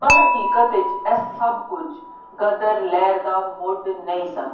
ਪਰ ਹਕੀਕਤ ਵਿੱਚ ਇਹ ਸਭ ਕੁੱਝ ਗਦਰ ਲਹਿਰ ਦਾ ਮੁੱਢ ਨਹੀਂ ਸਨ।